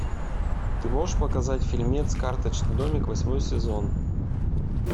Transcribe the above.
ты можешь показать фильмец карточный домик восьмой сезон